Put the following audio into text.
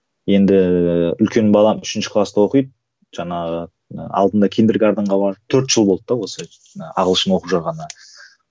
енді үлкен балам үшінші класта оқиды жаңағы ы алдында барып төрт жыл болды да осы ы ағылшын оқып жатқанына